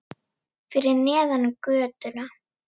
Fyrir neðan götuna.